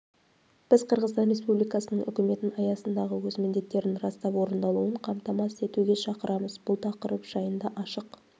біз қырғызстан республикасының үкіметін аясындағы өз міндеттерін растап орындалуын қамтамасыз етуге шақырамыз бұл тақырып жайында ашық